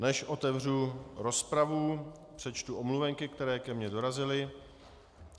Než otevřu rozpravu, přečtu omluvenky, které ke mně dorazily.